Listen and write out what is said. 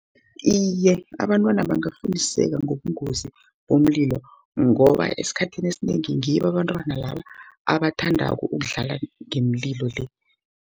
Iye, abantwana bangafundiseke ngobungozi bomlilo, ngoba esikhathini esinengi ngibo abantwanaba, abathandako ukudlala ngemlilo le.